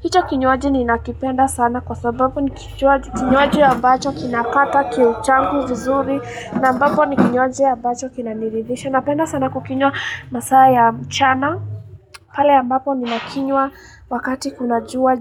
Hicho kinywaji ninakipenda sana kwa sababu ni kinywaji ambacho kinakata kiu changu vizuri. Na ambapo ni kinywaji ambacho kinaniridisha. Napenda sana kukinywa masaa ya mchana. Pale mbapo ninakinywa wakati kuna juu.